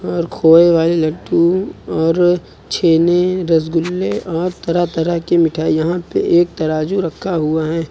और खोए वाली लड्डू और छेने रसगुल्ले और तरह तरह की मिठाई यहां पे एक तराजू रखा हुआ है।